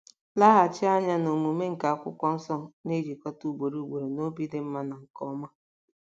Laghachi anya na omume nke Akwụkwọ Nsọ na-ejikọta ugboro ugboro na obi dị mma na nke ọma.